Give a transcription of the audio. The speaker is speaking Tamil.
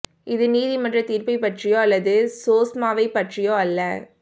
இது நீதிமன்ற தீர்ப்பைப் பற்றியோ அல்லது சோஸ்மாவைப் பற்றியோ அல்ல